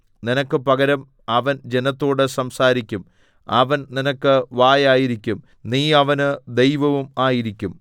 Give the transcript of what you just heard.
നിനക്ക് പകരം അവൻ ജനത്തോട് സംസാരിക്കും അവൻ നിനക്ക് വായായിരിക്കും നീ അവന് ദൈവവും ആയിരിക്കും